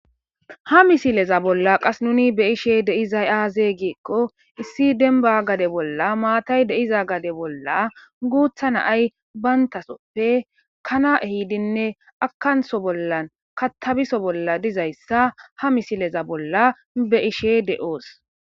Ha misileza bolla qas nuni be7ishe dizay aaze giikko issi dembba gade bolla maatay de7iza gade bolla guutha naay bantasoppe kana ehiidinne akanso bollan katabiso bolla dizayssa ha misileza bolla be7ishe de7oos.